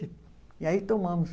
E aí tomamos.